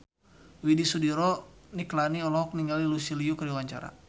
Widy Soediro Nichlany olohok ningali Lucy Liu keur diwawancara